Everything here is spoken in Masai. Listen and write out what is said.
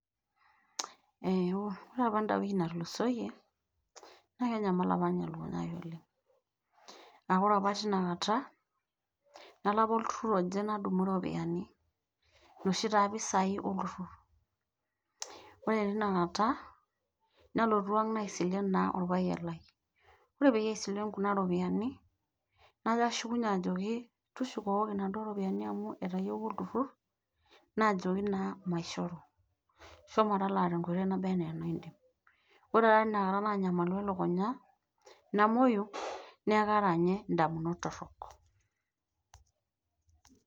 ore apa eda wiki natulusoyie naa kenyamal apa ninye elukunya ai oleng. ore apa teina kata, nalo apa olturur oje nadumu ropiyiani, inoshi taa pisai olturur. ore teina kata nalotu ang naaaisilen orpayian lai. ore peyie aisilen kuna ropiyiani, najo ashukunye ajoki tushukoki inaduoo ropiyiani amu etayieuwua olturur. naajoki naa maishoru, shomo talaa tenkoitoi naba anaa enidim, ore taa teina kata naanyamalu elukunya namuoyu, neku kaata ninye damunot torok.